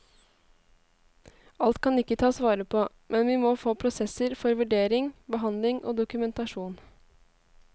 Alt kan ikke tas vare på, men vi må få prosesser for vurdering, behandling og dokumentasjon.